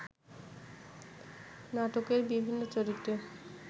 নাটকের বিভিন্ন চরিত্রে